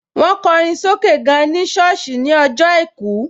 Mo kọrin sókè gan ní sọ́ọ̀sì ní ọjọ́ àìkú